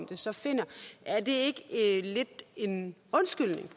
det så finder ikke lidt en undskyldning